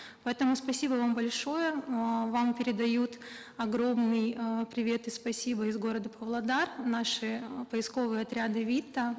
поэтому спасибо вам большое эээ вам передают огромный привет и спасибо из города павлодар наши э поисковые отряды вита